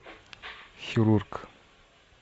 хирург